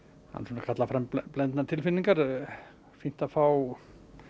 hún kallar fram blendnar tilfinningar fínt að fá